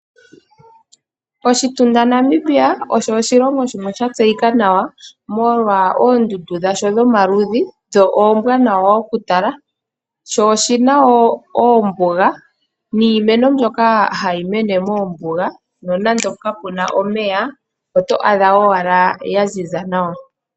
Oshitunda Namibia osho oshilongo shimwe sha tseyika nawa molwa oondundu dha sho dhomaludhi dho oombwanawa oku tala sho oshina wo oombuga niimeno mbyoka hayi mene moombuga nonande kapuna omeya oto adha owala iimeno ya ziza nawa.